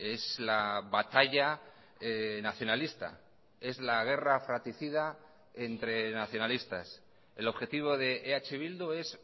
es la batalla nacionalista es la guerra fraticida entre nacionalistas el objetivo de eh bildu es